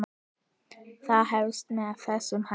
Það hefst með þessum hætti